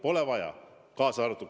Pole vaja!